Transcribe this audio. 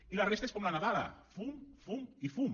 i la resta és com la nadala fum fum i fum